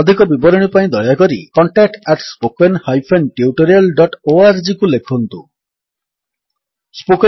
ଅଧିକ ବିବରଣୀ ପାଇଁ ଦୟାକରି contact at spoken hyphen tutorial dot ଓଆରଜିକୁ ଲେଖନ୍ତୁ contactspoken tutorialଓଆରଜି